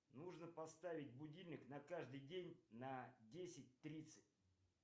нужно поставить будильник на каждый день на десять тридцать